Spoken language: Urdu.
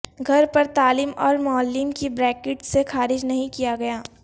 گھر پر تعلیم اور معلم کی پریکٹس سے خارج نہیں کیا گیا